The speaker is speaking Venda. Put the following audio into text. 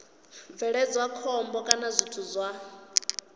bveledza khombo kana zwithu zwa